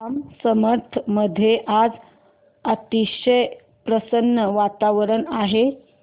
जांब समर्थ मध्ये आज अतिशय प्रसन्न वातावरण आहे